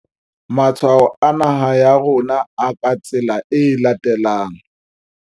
Matshwao a naha ya rona a ka tsela e latelang.